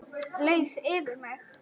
Leið yfir mig?